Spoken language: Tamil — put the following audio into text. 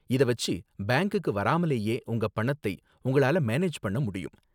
இத வெச்சு பேங்க்குக்கு வராமலேயே உங்க பணத்தை உங்களால மேனேஜ் பண்ண முடியும்.